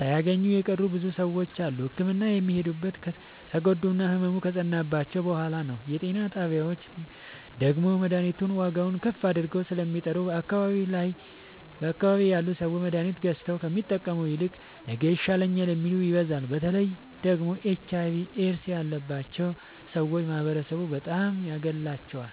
ሣያገኙ የቀሩ ብዙ ሰዎች አሉ። ህክምና የሚሄዱትም ከተጎዱና ህመሙ ከፀናባቸዉ በሗላ ነዉ። የጤና ጣቢያዎች ደግሞ መድሀኒቱን ዋጋዉን ከፍ አድርገዉ ስለሚጠሩ በአካባቢዉ ያሉ ሠዎች መድሀኒት ገዝተዉ ከሚጠቀሙ ይልቅ ነገ ይሻለኛል የሚሉት ይበዛሉ። በተለይ ደግሞ ኤች አይቪ ኤድስ ያባቸዉ ሠዎች ማህበረሡ በጣም ያገላቸዋል።